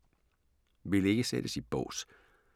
Vil ikke sættes i bås